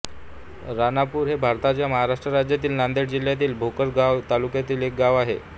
राणापूर हे भारताच्या महाराष्ट्र राज्यातील नांदेड जिल्ह्यातील भोकर गाव तालुक्यातील एक गाव आहे